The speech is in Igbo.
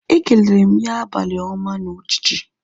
Ekelere m ya abalị ọma na uchichi